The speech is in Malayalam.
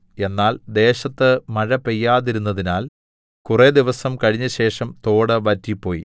എന്നാൽ ദേശത്ത് മഴ പെയ്യാതിരുന്നതിനാൽ കുറെ ദിവസം കഴിഞ്ഞശേഷം തോട് വറ്റിപ്പോയി